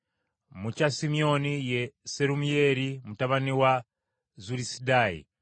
mu kya Simyoni ye Serumiyeeri mutabani wa Zulisadaayi;